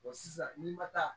sisan n'i ma taa